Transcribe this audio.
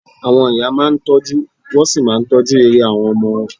Àwọn ìyá máa ń tọ́jú, wọ́n sì máa ń tọ́jú ire àwọn ọmọ wọn